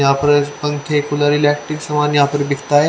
यहां पर पंखे कूलर इलेक्ट्रिक सामान यहां पर बिकता है।